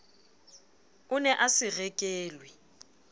o ne a se rekelwe